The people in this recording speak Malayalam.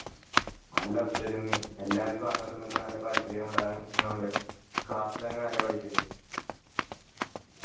നല്ല ഒത്തൊരുമയും എല്ലാർക്കും അങ്ങോട്ടും ഇങ്ങോട്ടും നല്ല പരിചയം ഉണ്ടായിരുന്ന കൊണ്ട് class ലങ്ങു നല്ല vibe